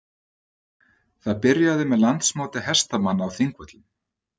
Það byrjaði með Landsmóti hestamanna á Þingvöllum.